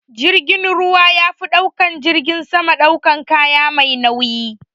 Jirgin ruwa yafi jirgin sama daukan kaya mai nauyi.